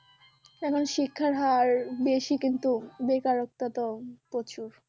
এখন শিক্ষার হার বেশি কিন্তু বেকারত্বা তো প্রচুর